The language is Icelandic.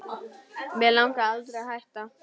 Mig langaði aldrei að hætta